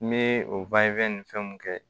N bɛ o ni fɛnw kɛ